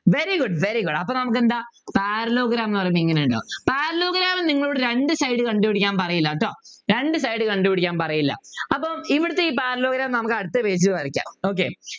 very good very good അപ്പൊ നമുക്കെന്താ Parallelogram എന്ന് പറയുന്നതെങ്ങനെയാ ഉണ്ടാകും Parallelogram നിങ്ങളോട് രണ്ട് side കണ്ടു പിടിക്കാൻ പറയില്ല കേട്ടോ രണ്ടു side കണ്ടുപിടിക്കാൻ പറയില്ല അപ്പൊ ഇവിടുത്തെ ഈ Parallelogram നമുക്ക് അടുത്ത page ൽ വരയ്ക്കാം okay